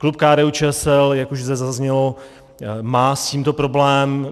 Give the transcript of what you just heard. Klub KDU-ČSL, jak už zde zaznělo, má s tímto problém.